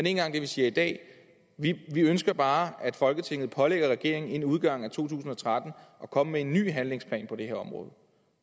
engang det vi siger i dag vi ønsker bare at folketinget pålægger regeringen inden udgangen af to tusind og tretten at komme med en ny handlingsplan på det her område